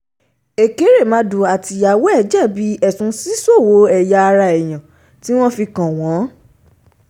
ẹ̀kẹ̀rẹ̀màdù àtìyàwó ẹ̀ jẹ̀bi ẹ̀sùn ṣíṣòwò ẹ̀yà ara èèyàn tí wọ́n fi kàn wọ́n